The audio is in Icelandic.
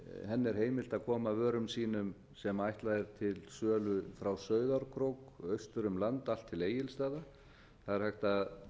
henni er heimilt að koma vörum sínum sem ætlað er til sölu frá sauðárkrók og austur um land allt til egilsstaða það er hægt að